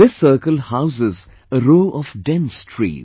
This circle houses a row of dense trees